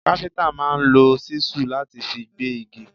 Káfíntà máa ń lò ṣísù láti fi gbé igi.